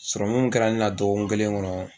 min kɛra ne na dɔgɔkun kelen kɔnɔ